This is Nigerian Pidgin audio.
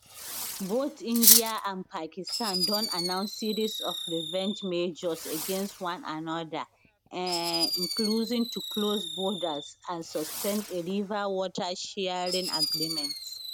both india and pakistan don announce series of revenge measures against one anoda um including to close borders and suspend a river water sharing agreement